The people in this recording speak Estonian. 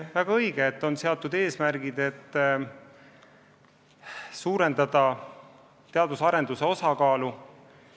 Väga õige, et on seatud eesmärk suurendada teadus-arendustegevuse kulutuste osakaalu.